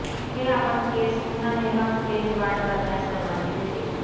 हे आपण केस पुन्हा निर्माण स्टेज वाढ करण्यास परवानगी देते